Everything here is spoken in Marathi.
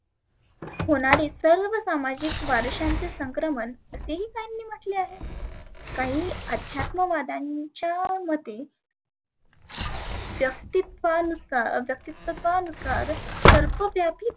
होणारी सर्व सामाजीक वारशांचे सक्रमन, ते ही साहींनी म्हटले आहे. काही अध्यात्म वाद्यांच्या मते व्यक्तीत्वा व्यक्तीत्वानुसार सर्व व्यापी